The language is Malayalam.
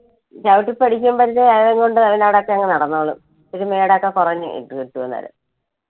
ചവിട്ടി പഠിക്കുമ്പഴത്തെക്ക് അതുംകൊണ്ട് അവൻ അവിടൊക്കെ നടന്നോളും ഇച്ചിരി മേട് ഒക്കെ കുറഞ്ഞു കി~കിട്ടും അന്നേരം.